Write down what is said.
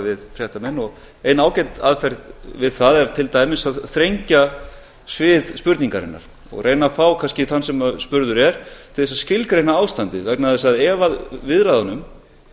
við fréttamenn og ein ágæt aðferð við það er til dæmis að þrengja svið spurningarinnar og reyna að fá kannski þann sem spurður er til að skilgreina ástandið vegna þess að ef viðræðunum